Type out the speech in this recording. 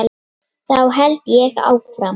Þá held ég áfram.